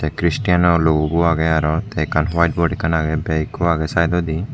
kristenno logo bu agey aro ekkan white board ekkan agey bag ekku agey sidedodi.